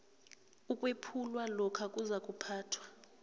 ukwephulwa lokho kuzakuphathwa